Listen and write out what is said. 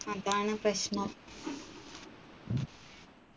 അതാണ് പ്രശ്നം